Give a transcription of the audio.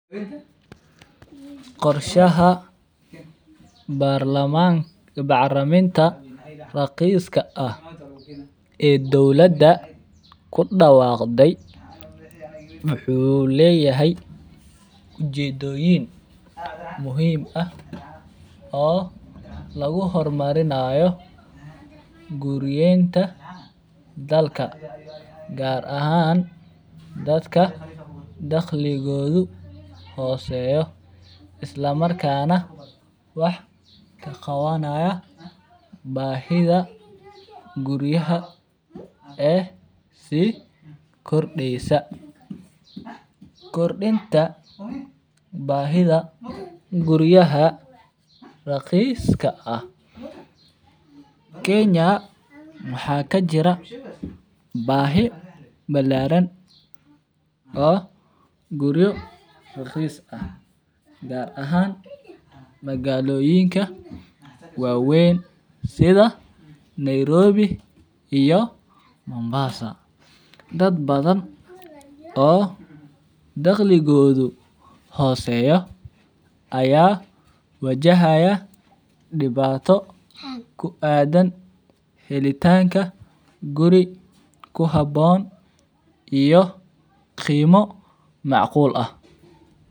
Qorshaha bacriminta raqiska ah ee dolada kudawaqday wuxuu leyahay ujedoyin muhiim ah oo lagu hormarinaya guriyenta dadka gar ahan dadka daqligidhu hoseyo isla markas nah daqliga ah bahida guriyaha eh si kordeysa kordinta bahidha guriyaha raqiska ah kenya maxaa kajira bahi balaran oo guriyo raqis ah gar ahan magaloyinka wawen sitha nairobi iyo mombasa dad badan oo daqligodhu hoseya aya wajahaya diwato ku adan helitanka guri ku habon iyo qimo mac qul ah.